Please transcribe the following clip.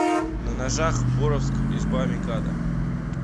на ножах боровск изба микадо